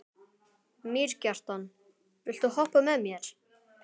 Mýrkjartan, viltu hoppa með mér?